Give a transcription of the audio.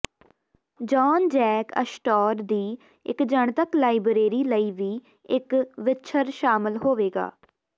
ਜਾਨ Jack Astor ਦੀ ਇਕ ਜਨਤਕ ਲਾਇਬ੍ਰੇਰੀ ਲਈ ਵੀ ਇੱਕ ਵਿੱਛਰ ਸ਼ਾਮਲ ਹੋਵੇਗਾ